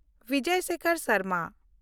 Bijoy Sekhar Sharma